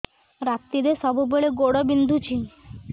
ରାତିରେ ସବୁବେଳେ ଗୋଡ ବିନ୍ଧୁଛି